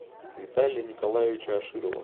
виталия николаевича аширова